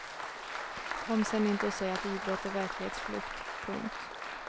Kom sen inte och säg att idrott är verklighetsflykt. punkt